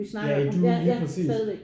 Ja i Dune lige præcist